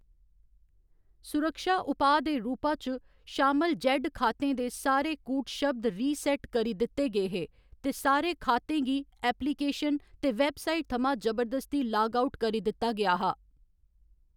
सुरक्षा उपाऽ दे रूपा च, शामल जेड्ड खातें दे सारे कूटशब्द रीसैट करी दित्ते गे हे, ते सारे खातें गी एप्लिकेशन ते वैबसाइट थमां जबरदस्ती लाग आउट करी दित्ता गेआ हा।